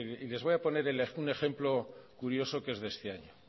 y mire les voy a poner un ejemplo curioso que es de este año